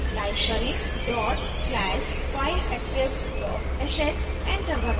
type करें dot slash fileattrib dot sh enter दबाएं